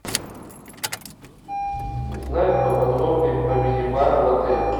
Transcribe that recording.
узнать поподробнее про мини бар в отеле